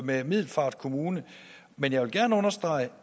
med middelfart kommune men jeg vil gerne understrege